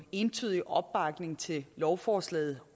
entydig opbakning til lovforslaget